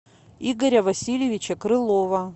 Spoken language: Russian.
игоря васильевича крылова